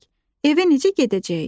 Evə necə gedəcəyik?